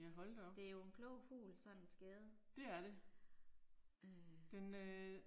Det er jo en klog fugl sådan en skade. Øh